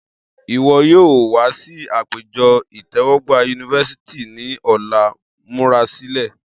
Iwọ yoo wa si apejọ itẹwọgba University ni ọla, murasilẹ!